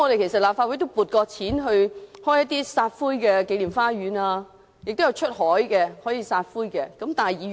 其實立法會曾就開設紀念花園及出海撒灰批准撥款。